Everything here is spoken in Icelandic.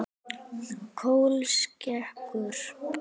Kolskeggur